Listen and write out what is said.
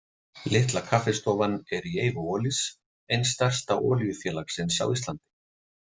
Litla kaffistofan er í eigu Olís, eins stærsta olíufélagsins á Íslandi.